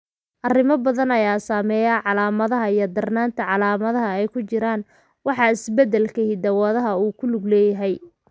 Arrimo badan ayaa saameeya calaamadaha iyo darnaanta calaamadaha, oo ay ku jiraan waxa isbeddelka hidda-wadaha uu ku lug leeyahay.